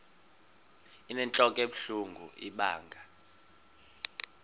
inentlok ebuhlungu ibanga